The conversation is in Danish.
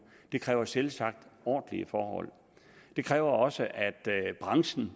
det kræver selvsagt ordentlige forhold det kræver også at branchen